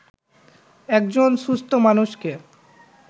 একজন সুস্থ মানুষকে